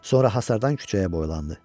Sonra hasardan küçəyə boylandı.